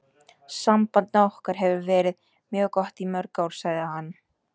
Samband okkar hefur verið mjög gott í mörg ár, sagði hann.